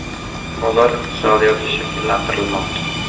Bozor iqtisodiyoti shakllantirilmoqda.